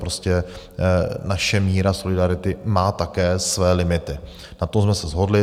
Prostě naše míra solidarity má také své limity, na tom jsme se shodli.